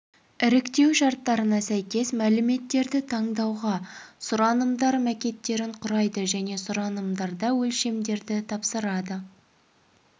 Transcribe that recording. іріктеу шарттарына сәйкес мәліметтерді таңдауға сұранымдар макеттерін құрайды және сұранымдарда өлшемдерді тапсырады